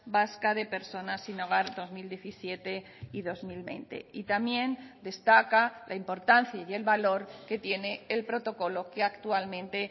vasca de personas sin hogar dos mil diecisiete y dos mil veinte y también destaca la importancia y el valor que tiene el protocolo que actualmente